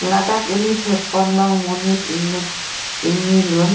ladak eli thekponlong monit inut ingni lun.